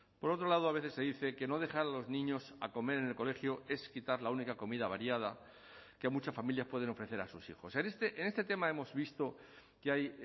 por otro lado a veces se dice que no dejar a los niños a comer en el colegio es quitar la única comida variada que muchas familias pueden ofrecer a sus hijos en este tema hemos visto que hay